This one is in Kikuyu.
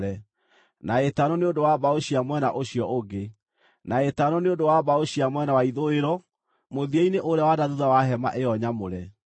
na ĩtano nĩ ũndũ wa mbaũ cia mwena ũcio ũngĩ, na ĩtano nĩ ũndũ wa mbaũ cia mwena wa ithũĩro mũthia-inĩ ũrĩa wa na thuutha wa hema ĩyo nyamũre.